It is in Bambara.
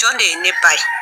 Jɔn de ye ne ba ye.